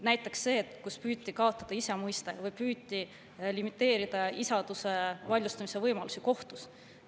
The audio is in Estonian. Näiteks see, kui püüti kaotada isa mõiste või püüti limiteerida isaduse vaidlustamise võimalusi kohtus.